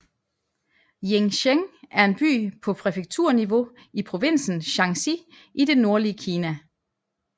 Jincheng er en by på præfekturniveau i provinsen Shanxi i det nordlige Kina